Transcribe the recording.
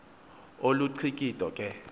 olu cikido ke